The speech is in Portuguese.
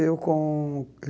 com